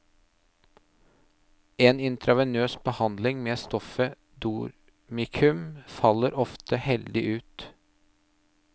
En intravenøs behandling med stoffet dormikum faller ofte heldig ut.